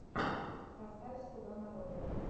поставь слуга народа